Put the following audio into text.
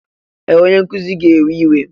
Ee! Onye nkuzi ga-ewe iwe.